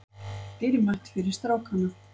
Dýrmætt fyrir strákana